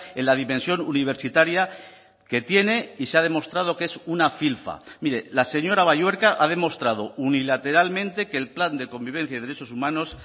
en la dimensión universitaria que tiene y se ha demostrado que es una filfa mire la señora balluerka ha demostrado unilateralmente que el plan de convivencia y derechos humanos